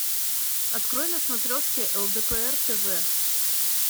открой на смотрешке лдпр тв